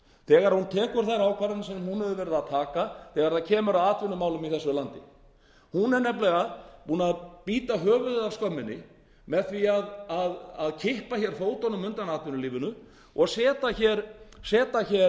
þegar hún tekur þær ákvarðanir sem hún hefur verið að taka þegar kemur að atvinnumálum í þessu landi hún er nefnilega búin að bíta höfuðið af skömminni með því að kippa fótunum undan atvinnulífinu og setja atvinnulífið í uppnám hún er upphafið